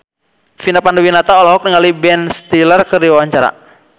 Vina Panduwinata olohok ningali Ben Stiller keur diwawancara